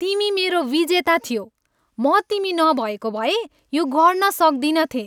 तिमी मेरो विजेता थियौ! म तिमी नभएको भए यो गर्न सक्दिनथेँ।